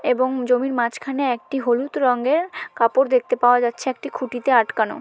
এবং জমির মাঝখানে একটি হলুদ রঙের কাপড় দেখতে পাওয়া যাচ্ছে একটি খুঁটিতে আটকানো।